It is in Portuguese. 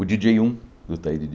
O Di dJei um, do Itaí de